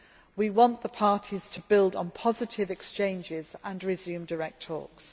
We want the parties to build on positive exchanges and resume direct